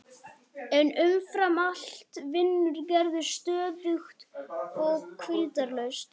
En umfram allt vinnur Gerður stöðugt og hvíldarlaust.